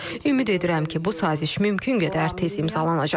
Ümid edirəm ki, bu saziş mümkün qədər tez imzalanacaq.